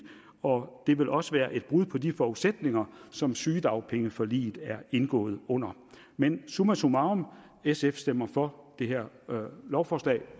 og det vil også være et brud på de forudsætninger som sygedagpengeforliget er indgået under men summa summarum sf stemmer for det her lovforslag